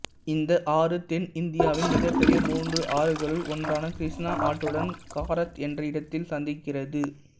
இந்த ஆறு தென்னிந்தியாவின் மிகப்பெரிய மூன்று ஆறுகளுள் ஒன்றான கிருஷ்ணா ஆற்றுடன் காரத் என்ற இடத்தில் சந்திக்கிறது